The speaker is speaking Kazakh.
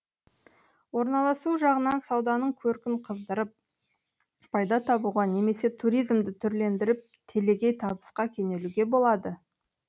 орналасуы жағынан сауданың көркін қыздырып пайда табуға немесе туризмді түрлендіріп телегей табысқа кенелуге болады